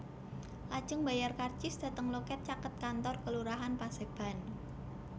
Lajeng mbayar karcis dhateng loket caket kantor Kelurahan Paseban